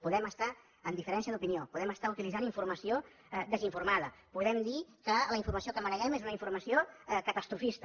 podem estar amb diferència d’opinió podem estar utilitzant informació desinformada podem dir que la informació que maneguem és una informació catastrofista